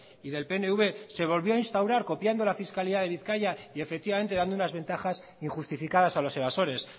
y del pnv se volvió a instaurar copiando la fiscalidad de bizkaia y efectivamente dando unas ventajas injustificadas a los evasores